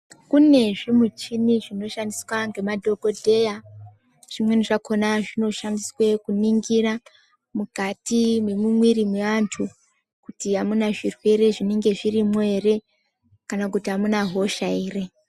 Kune zvimichini zvinoshandiswa ngemadhokodheya zvimweni zvakhona zvinoshandiswe kuningira mukati mwemumwiri mweantu kuti amuna zvirwere zvinenge zvirimwo ere kana kuti amuna hosha ere.